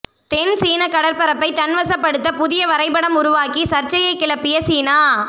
தென்சீன கடற்பரப்பை தன்வசப்படுத்த புதிய வரைபடம் உருவாக்கி சர்ச்சையை கிளப்பிய சீனா